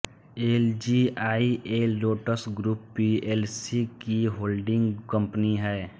LGIL Lotus group PLC की holding company है